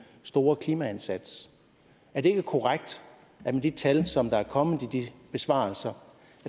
store klimaindsats er det ikke korrekt at med de tal som er kommet i de besvarelser